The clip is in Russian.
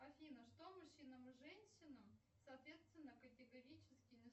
афина что мужчинам и женщинам соответственно категорически